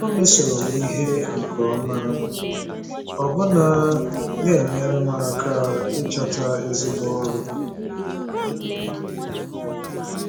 O mesoro m ihe nke ọma, ọbụna na-enyere m aka ịchọta ezigbo ọrụ.